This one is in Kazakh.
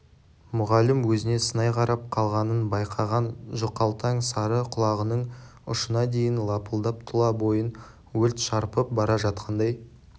мұғалім өзіне сынай қарап қалғанын байқаған жұқалтаң сары құлағының ұшына дейін лапылдап тұла бойын өрт шарпып бара жатқандай